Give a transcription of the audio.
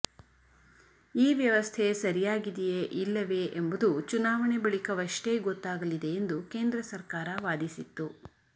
ಈ ವ್ಯವಸ್ಥೆ ಸರಿಯಾಗಿದೆಯೇ ಇಲ್ಲವೇ ಎಂಬುದು ಚುನಾವಣೆ ಬಳಿಕವಷ್ಟೇ ಗೊತ್ತಾಗಲಿದೆ ಎಂದು ಕೇಂದ್ರ ಸರ್ಕಾರ ವಾದಿಸಿತ್ತು